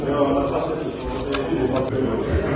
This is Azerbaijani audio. Allah göstərməsin, Allah göstərməsin.